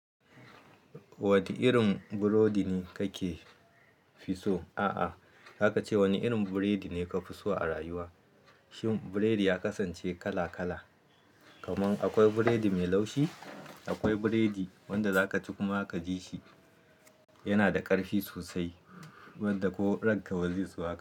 Wani irin burodi ne kake fi so? A'a, zaka ce wani irin biredi ne ka fi so a rayuwa. Shin biredi ya kasance kala kala, kaman akwai biredi mai laushi, akwai biredi wanda za ka ci kuma ka ji shi yana da karfi sosai, wanda ko ranka ba zai so haka.